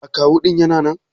Akawu ɗin Yana nan?